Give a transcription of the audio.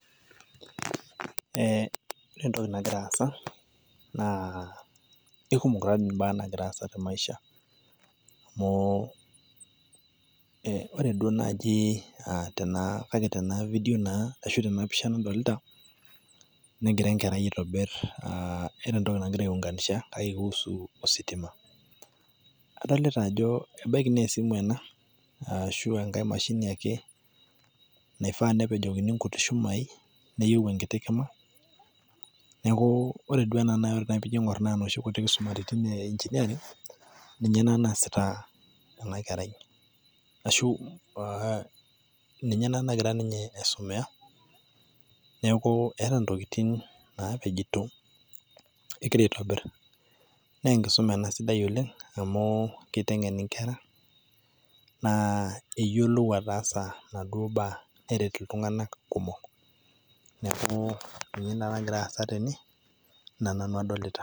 Ee ore entoki nagira aasa naa kekumok ebaa naagira aasa teMaisha oo ee ore duo naaji tena tena video naa ashu tena pisha nadolita negira Enkerai aitobirr aa keeta entoki nagira aung'anisha, nausu ositima, adolita ajo ebaiki naa esimu ena aashu engae mashini ake, naifaa nepejokini enkuti shumai neyiou enkiti Kima, neeku ore duo naji ena naa enoshi kuti tokitin eengineering ninye ena naasita ena Kerai ashu aa ninye ena nagira aisumiya neeku eeta Intokitin naapejito egira aitobirr, naa enkisuma ena sidai oleng' amu keiteng'en enkera, aa eyiolou ataasa Ina duo baa neret iltung'anak kumok, neeku Ina toki Nanu adaalta egira aasa.